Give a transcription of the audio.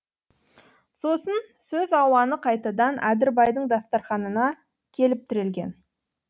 сосын сөз ауаны қайтадан әдірбайдың дастарханына келіп тірелген